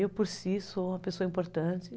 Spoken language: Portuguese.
Eu, por si, sou uma pessoa importante.